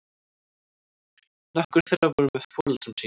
Nokkur þeirra voru með foreldrum sínum